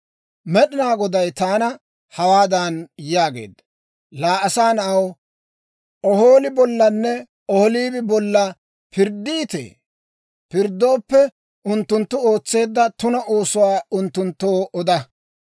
Med'inaa Goday taana hawaadan yaageedda; «Laa asaa na'aw, Ohooli bollanne Ohoolibi bolla pirddiitee? Pirddooppe, unttunttu ootseedda tuna oosuwaa unttunttoo oda.